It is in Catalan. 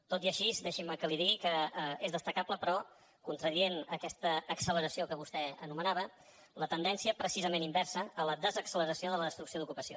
tot i així deixi’m que li digui que és destacable però contradient aquesta acceleració que vostè anomenava la tendència precisament inversa a la desacceleració de la destrucció d’ocupació